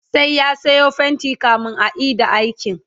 sai ya Sayo fainti kamin a Ida aikin